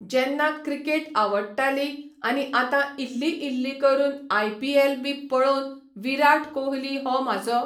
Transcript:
जेन्ना क्रिकेट आवडटाली आनी आता इल्ली इल्ली करून आयपिएल बी पळोवन विराट कोहली हो म्हाजो